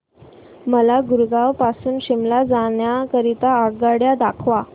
मला गुरगाव पासून शिमला जाण्या करीता आगगाड्या दाखवा